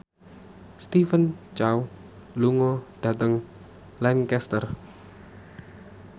Stephen Chow lunga dhateng Lancaster